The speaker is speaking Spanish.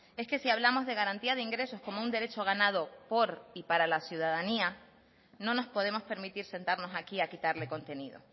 es que si hablamos de garantía de ingresos como un derecho ganado por y para la ciudadanía no nos podemos permitir sentarnos aquí a quitarle contenido